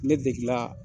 Ne degela